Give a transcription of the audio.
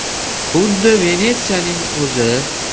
“Xuddi Venetsiyaning o‘zi” .